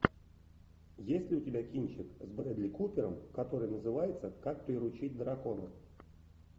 есть ли у тебя кинчик с брэдли купером который называется как приручить дракона